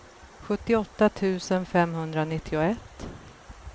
sjuttioåtta tusen femhundranittioett